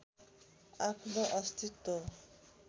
आफ्नो अस्तित्व